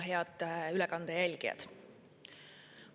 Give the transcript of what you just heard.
Head ülekande jälgijad!